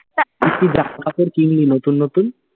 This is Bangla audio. জামা কাপড় কিনলি নতুন নতুন?